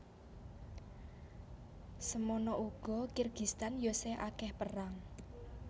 Semono ugo Kirgistan yo sih akeh perang